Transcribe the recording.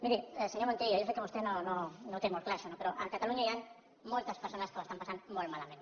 miri senyor montilla jo sé que vostè no ho té molt clar això no però a catalunya hi han moltes persones que ho estan passant molt malament